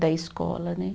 Da escola, né?